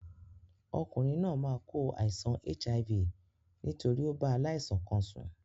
Okùnrin náà máa kó àìsan HIV nítorí o bá aláìsàn kan sùn